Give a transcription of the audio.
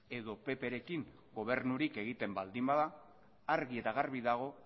edo pprekin gobernurik egiten baldin bada argi eta garbi dago